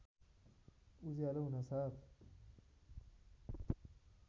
उज्यालो हुनासाथ